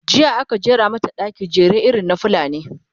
jiya aka jera mata ɗaki, jere irin na fulani